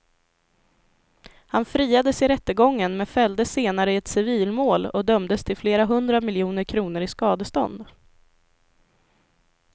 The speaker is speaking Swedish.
Han friades i rättegången men fälldes senare i ett civilmål och dömdes till flera hundra miljoner kronor i skadestånd.